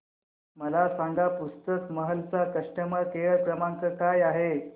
मला सांगा पुस्तक महल चा कस्टमर केअर क्रमांक काय आहे